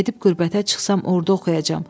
Gedib qürbətə çıxsam, orda oxuyacam.